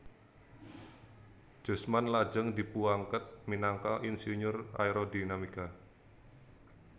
Jusman lajeng dipuangkat minangka insinyur Aerodinamika